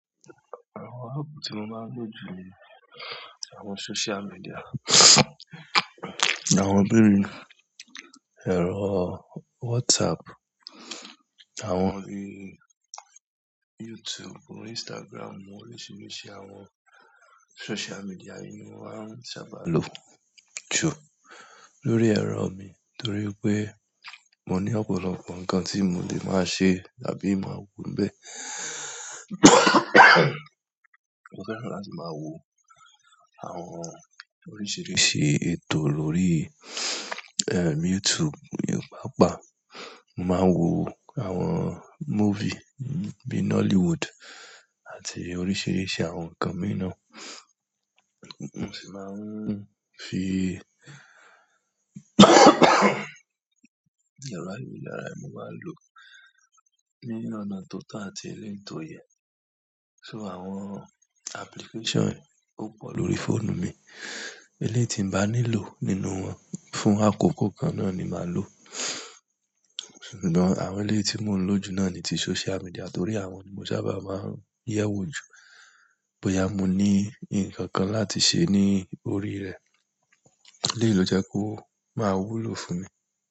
Àwọn app tí mo máa ń lò jù ni àwọn social media àwọn bí i ẹ̀rọ WhatsApp, àwọn bí i YouTube, Instagram, oríṣiríṣi àwọn social media ni mo máa ń sábà lò jù lórí ẹ̀rọ mi nítorí pé mo ní ọ̀pọ̀lọpọ̀ nǹkan tí mo lè máa ṣe àbí máa wo bẹ́ẹ̀. Mo fẹ́ràn láti máa wo àwọn oríṣiríṣi ètò lórí, ẹ, YouTube ní papa. Mo máa ń wo àwọn movie bíi Nollywood àti oríṣiríṣi àwọn nǹkan mìí náà. Mo sì máa ń fi ẹ̀rọ ayélujára mi máa lò ní ọ̀nà tó tà àti eléto yẹn. So àwọn application ó pọ̀ lórí fóònù mi, eleyii tí n bá nílò nínú wọn fún àkókò kan náà ni màá lò. Ṣùgbọ́n àwọn eléyii tí mò ń lò jù náà ni ti social media torí àwọn ni mo sábà máa ń yẹ̀wò jù bóyá mo ní nǹkan kan láti ṣe ní orí rẹ̀. Eléyii ló jẹ kó máa wúlò fún mi.